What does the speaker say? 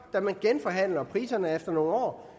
da man genforhandler priserne efter nogle år